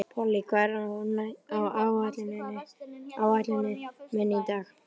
Polly, hvað er á áætluninni minni í dag?